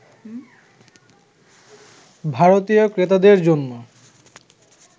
ভারতীয় ক্রেতাদের জন্য